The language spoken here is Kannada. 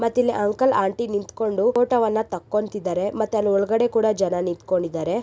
ಮತ್ತ ಇಲ್ಲಿ ಅಂಕಲ್ ಆಂಟಿ ನಿಂತು ಕೊಂಡು ಫೋಟೋವನ್ನು ತಗೊಂಡಿದ್ದಾರೆ ಮತ್ತೇ ಒಳಗಡೆ ಕೂಡ ಜನನಿಕೊಂಡಿದ್ದಾರೆ.